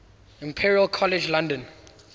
imperial college london